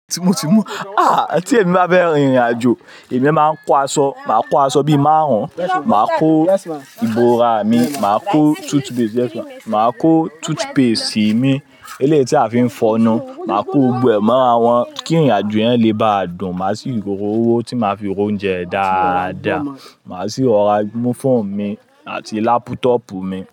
Tí mo ti mú, ah tí èmi bá fẹ́ rin ìrìn àjò, èmi máa ń kó aṣọ, màá kó aṣọ bíi máàrún, màá kó ìbora mi, màá kó toothpaste, yes ma, màá kó toothpaste mi, eléyìí tí a fi ń fọnu, màá kó gbogbo mọ́ra wọn kí ìrìn àjò yẹn lé bá dùn. Màá sì rí gbogbó owó tí màá fi ro oúnjẹ dáadá. Màá sì rora múfọ̀n mi àti lápútọ̀pù mi.